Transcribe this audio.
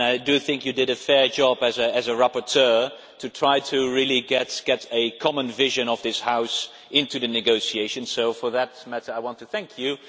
I think you did a fair job as a rapporteur in trying to really get the common vision of this House into the negotiations, so on that matter I want to thank you.